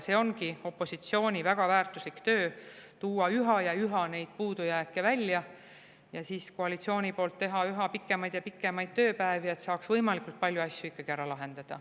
See ongi opositsiooni väga väärtuslik töö, tuua üha ja üha puudujääke välja ja siis koalitsioonil tuleb teha üha pikemaid ja pikemaid tööpäevi, et saaks võimalikult palju asju ikkagi ära lahendada.